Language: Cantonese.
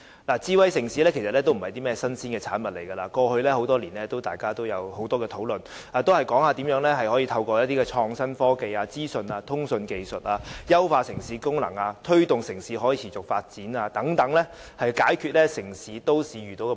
其實智慧城市不是甚麼新鮮產物，過去多年，大家也有很多討論，談論如何透過創新科技、資訊通訊技術，優化城市功能及推動城市可持續發展，以解決都市遇到的問題。